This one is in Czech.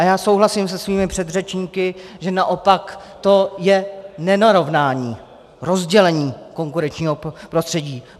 A já souhlasím se svými předřečníky, že naopak to je nenarovnání, rozdělení konkurenčního prostředí.